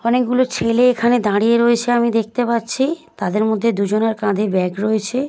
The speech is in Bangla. অনেকগুলো ছেলে এখানে দাঁড়িয়ে রয়েছে আমি দেখতে পাচ্ছি। তাদের মধ্যে দুজনের কাঁধে ব্যাগ রয়েছে।